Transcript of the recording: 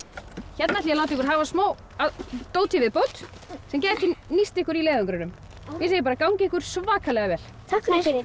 hérna ætla ég að láta ykkur hafa smá af dóti í viðbót sem gæti nýst ykkur í leiðangrinum ég segi bara gangi ykkur svakalega vel takk fyrir